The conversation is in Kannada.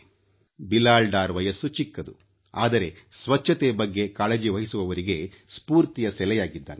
ಬಿಲಾಲ್ ಡಾರ್ ವಯಸ್ಸು ಚಿಕ್ಕದು ಆದರೆ ಸ್ವಚ್ಛತೆ ಬಗ್ಗೆ ಕಾಳಜಿವಹಿಸುವವರಿಗೆ ಸ್ಫೂರ್ತಿಯ ಸೆಲೆಯಾಗಿದ್ದಾನೆ